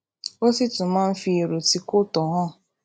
ó sì tún máa ń fi èrò tí kò tó hàn